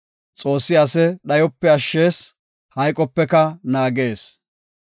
Xoossi ase dhayope ashshees; hayqopeka naagees.